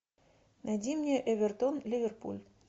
найди мне эвертон ливерпуль